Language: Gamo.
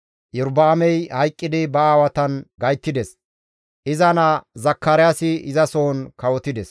Iyorba7aamey hayqqidi ba aawatan gayttides; iza naa Zakaraasi izasohon kawotides.